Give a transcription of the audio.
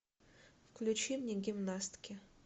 включи мне гимнастки